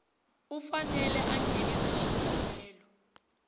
u fanele a nghenisa xikombelo